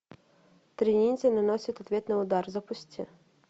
тринити наносит ответный удар запусти